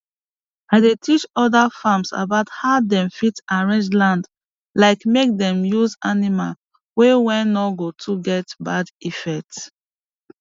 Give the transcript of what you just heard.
i dey teach other farms about how dem fit arrange land like make dem use animay way wey no go too get bad effect